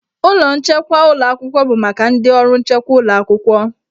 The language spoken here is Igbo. Ụlọ nchekwa ụlọ akwụkwọ bụ maka ndị ọrụ nchekwa ụlọ akwụkwọ.